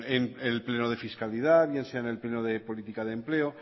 en el pleno de fiscalidad bien sea en el pleno de política de empleo